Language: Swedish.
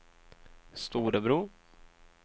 Storebro